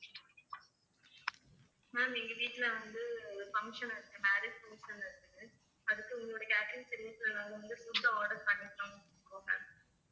ma'am எங்க வீட்ல வந்து function இருக்கு marriage function இருக்குது அதுக்கு உங்களுடைய catering service வந்து food order பண்ணிக்கலாம் so ma'am